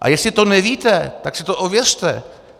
A jestli to nevíte, tak si to ověřte.